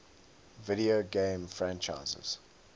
video game franchises